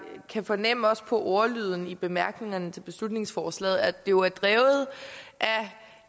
kan fornemme også på ordlyden i bemærkningerne til beslutningsforslaget at det jo er drevet af